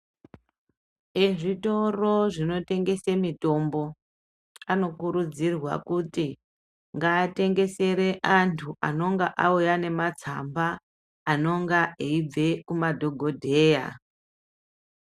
Ezvitoro zvino tengese mitombo ano kurudzirwa kuti ngaatengesere antu anonga auya ne matsamba anonga eyibve ku madhokodheya.